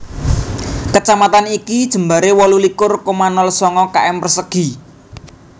Kecamatan iki jembaré wolu likur koma nol sanga km persegi